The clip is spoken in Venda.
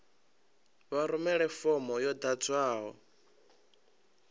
vha rumele fomo yo ḓadzwaho